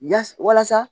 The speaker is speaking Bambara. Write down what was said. Ya walasa